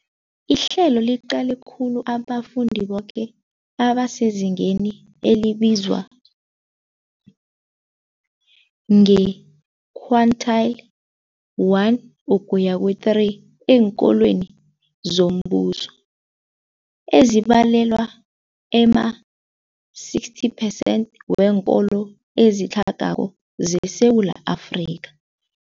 Ihlelo liqale khulu abafundi boke abasezingeni elibizwa nge-quintile 1-3 eenkolweni zombuso, ezibalelwa ema-60 percent weenkolo ezitlhagako zeSewula Afrika.